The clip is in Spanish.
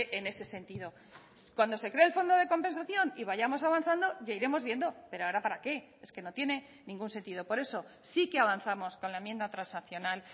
en ese sentido cuando se cree el fondo de compensación y vayamos avanzando ya iremos viendo pero ahora para qué es que no tiene ningún sentido por eso sí que avanzamos con la enmienda transaccional